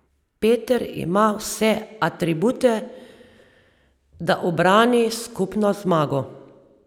Peter ima vse atribute, da ubrani skupno zmago.